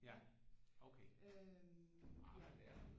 Ja okay